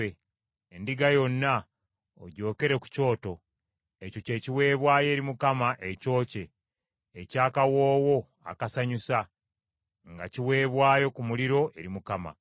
endiga yonna ogyokere ku kyoto. Ekyo ky’ekiweebwayo eri Mukama ekyokye, eky’akawoowo akasanyusa, nga kiweebwayo ku muliro eri Mukama .